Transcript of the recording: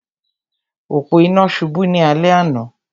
Òpó-inà náà subú ní alé àná